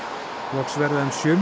loks verða um sjö